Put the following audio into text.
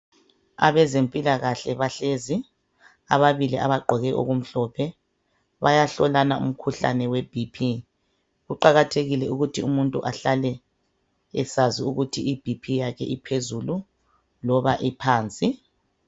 Abezempilakahle bahlezi, ababili abagqoke okumhlophe bayahlolana umkhuhlane weBP. Kuqakathekile ukuthi umuntu ahlale esazi ukuthi iBP yakhe iphezulu loba iphansi.